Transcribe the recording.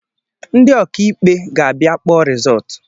Ndị ọkà ikpe ga abịa kpọọ rizọọtụ